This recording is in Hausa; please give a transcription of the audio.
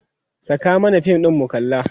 Saka mana fim mu kalla!